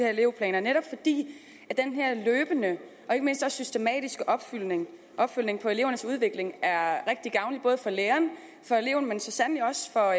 her elevplaner netop fordi den her løbende og ikke mindst systematiske opfølgning opfølgning på elevernes udvikling er rigtig gavnlig både for læreren og for eleven men så sandelig også for